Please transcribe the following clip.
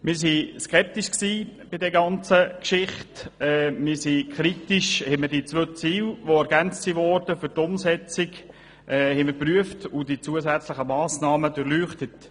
Wir sind skeptisch, und wir haben die beiden für die Umsetzung ergänzten Ziele geprüft und die zusätzlichen Massnahmen durchleuchtet.